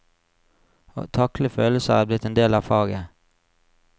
Å takle følelser er blitt en del av faget.